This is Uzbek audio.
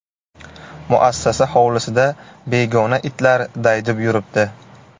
Muassasa hovlisida begona itlar daydib yuribdi.